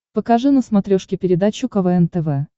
покажи на смотрешке передачу квн тв